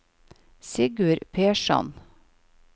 Sigurd Persson